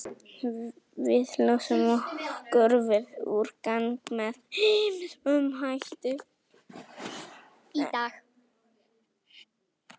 Við losum okkur við úrgang með ýmsum hætti.